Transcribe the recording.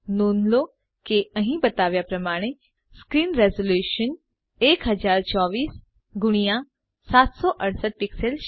નોંધ લો કે અહીં બતાવ્યા પ્રમાણે સ્ક્રીન રિઝોલ્યુશન 1024 એક્સ 768 પિક્સેલ્સ છે